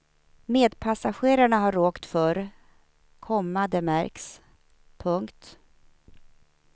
Medpassagerarna har åkt förr, komma det märks. punkt